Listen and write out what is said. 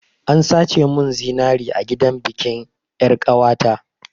An sace mun zinari a gidan bikin yar'ƙawata.